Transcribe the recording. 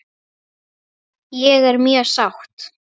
Ég er mjög sátt.